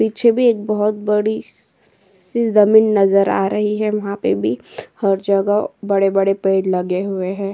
पीछे भी एक बोहोत बड़ी सी ज़मीन नज़र आ रही है। वहां पे भी हर जगह बड़े-बड़े पेड़ लगे हुए हैं।